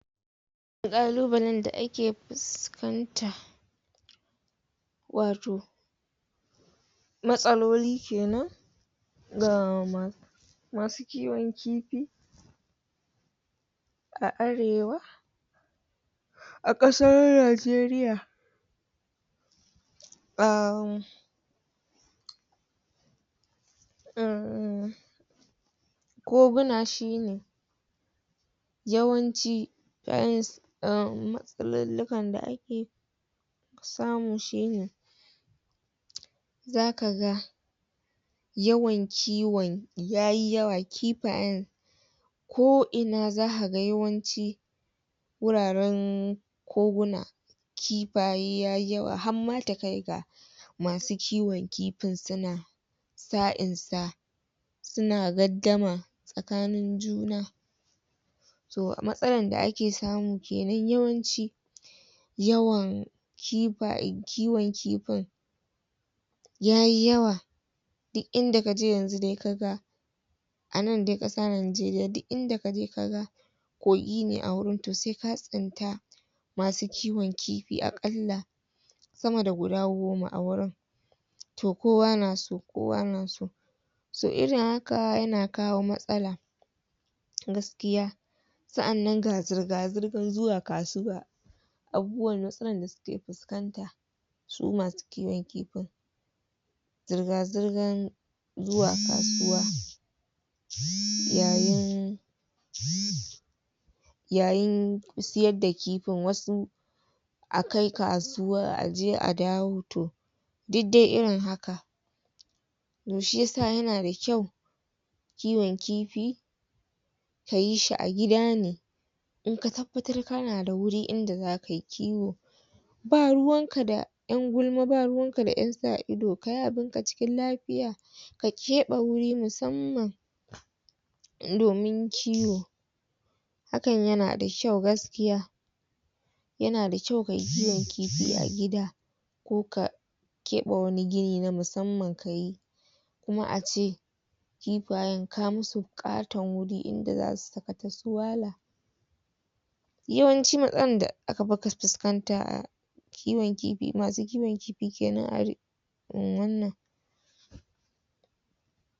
ƙalubalen da ake fuskanta wato matsaloli kenan ga masu kiwon kifi a arewa a ƙasan Najeriya koguna shine yawanci umm matsalolukan da ake samu shine zaka ga yawan kiwon yayi yawa kifayen ko ina zaka ga yawanci wuraren koguna kifaye yayi yawa hamma ta kai ga masu kiwon kifin suna sa in sa suna gaddama tsakanin juna to matsalar da ake samu kenan yawanci yawan kifaye kiwon kifin yayi yawa duk inda kaje yanzu de kaga a nan dai ƙasa Najeriya duk inda kaje ka ga kogi ne a wurin to se ka tsinta masu kiwon kifi aƙalla sama da guda goma a wurin to kowa na so kowa na so so irin haka yana kawo matsala gaskiya sa'annan ga zirga-zirgan zuwa kasuwa matsalan da suke fuskanta su masu kiwon kifin zirga-zirgan zuwa kasuwa yayin yayin siyar da kifin, wasu akai kasuwa aje a dawo to duk dai irin haka to shi yasa yana da kyau kiwon kifi ka yi shi a gida ne in ka tabbatar kana da wuri inda zaka yi kiwo ba ruwanka da ƴan gulma ba ruwan ka ƴan sa ido kayi abunka cikin lafiya ka keɓe wuri musamman domin kiwo hakan yana da kyau gaskiya yana da kyau kayi kiwon kifi a gida ko ka keɓe wani gini na musamman kayi kuma a ce kifayen ka mu su ƙaton wuri in da zasu sakata su wala yawanci matsalan da aka fuskanta a kiwon kifi masu kiwon kifi kenan arewan nan